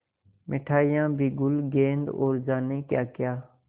मिठाइयाँ बिगुल गेंद और जाने क्याक्या